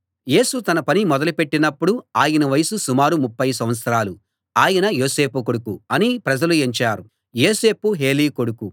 యేసు తన పని మొదలుపెట్టినప్పుడు ఆయన వయస్సు సుమారు ముప్ఫై సంవత్సరాలు ఆయన యోసేపు కొడుకు అని ప్రజలు ఎంచారు యోసేపు హేలీ కొడుకు